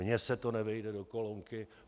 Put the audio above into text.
Mně se to nevejde do kolonky.